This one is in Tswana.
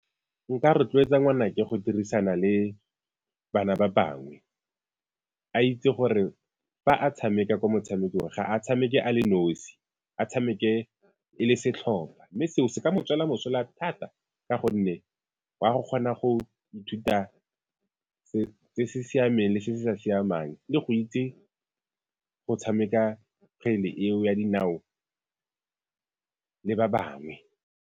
Nka rotloetsa ngwanake go dirisana le bana ba bangwe, a itse gore fa a tshameka ko motshamekong ga a tshameke a le nosi a tshameke e le setlhopha mme seo se ka mo tswela mosola thata, ka gonne wa go kgona go ithuta siameng le se se sa siamang le go itse go tshameka kgwele eo ya dinao le ba bangwe.